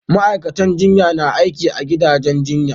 Ma'aikacin jinya na aiki a gidajen jinya